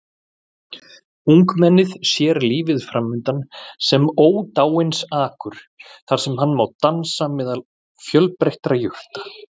Ungmennið sér lífið framundan sem ódáinsakur þar sem hann má dansa meðal fjölbreyttra jurta.